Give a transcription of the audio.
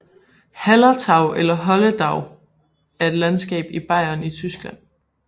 Hallertau eller Holledau er et landskab i Bayern i Tyskland